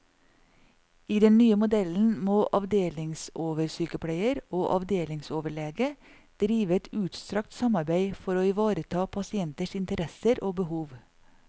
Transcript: I den nye modellen må avdelingsoversykepleier og avdelingsoverlege drive et utstrakt samarbeide for å ivareta pasienters interesser og behov.